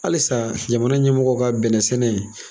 Halisa jamana ɲɛmɔgɔw ka bɛnɛ sɛnɛ in.